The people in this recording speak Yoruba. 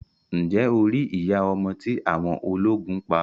Ǹjẹ́ o rí iya ọmọ tí awọn ọlógún pa?